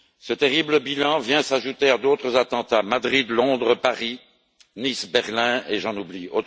Ce terrible bilan vient s'ajouter à d'autres attentats Madrid, Londres, Paris, Nice, Berlin, et j'en oublie.